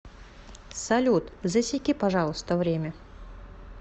салют засеки пожалуйста время